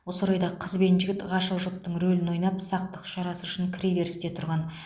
осы орайда қыз бен жігіт ғашық жұптың рөлін ойнап сақтық шарасы үшін кіреберісте тұрған